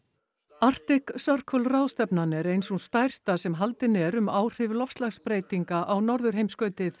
Arctic Circle ráðstefnan er ein sú stærsta sem haldin er um áhrif loftslagsbreytinga á norðurheimskautið